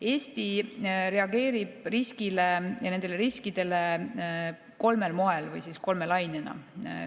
Eesti reageerib nendele riskidele kolmel moel või kolme lainena.